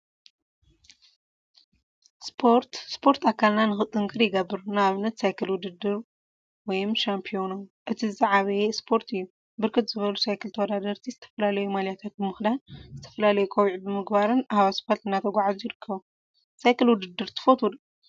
ስፖርት ስፖርት አከልና ንክጥንክር ይገብር፡፡ ንአብነት ሳይክል ውድድር /ሻምፒዮኖ/ እቲ ዝዓበየ እስፖርት እዩ፡፡ ብርክት ዝበሉ ሳይክል ተወዳደርቲ ዝተፈለለዩ ማልያታት ብምክዳን ዝተፈላለዩ ቆቢዕ ብምግባርን አብ እስፓልት እናተጓዓዙ ይርከቡ፡፡ ሳይክል ውድድር ትፈትው ዶ?